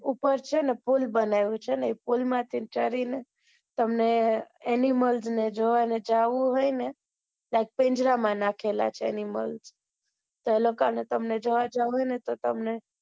ઉપર છે ને એક પુલ બનાવેલું છ ને એ પુલ માંથી ચડી ને તમને animals ને જોવા ને જવું હોય તો પિંજારા માં નાખેલા છે animals તો એ લોકો ને તમને જોવા જવું હોય ને તો તને